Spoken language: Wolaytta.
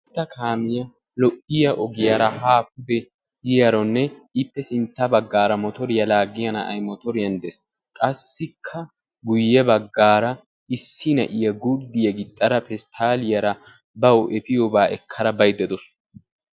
Boottaa Kaamiya lo'iya ogiyara ha pude yiiyaaronne ippe sinttaa bagaara mottoriya laagiya na'ay mottoriyan dees, qassikka guyye baggaara issi na'iya gurdiya gixxara pesttaaliyara bawu efiyobaa ekkada baydda daawusu.